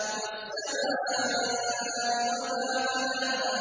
وَالسَّمَاءِ وَمَا بَنَاهَا